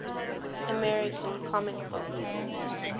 american comic book